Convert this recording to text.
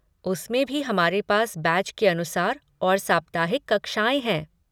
उसमें भी हमारे पास बैच के अनुसार और साप्ताहिक कक्षाएँ हैं।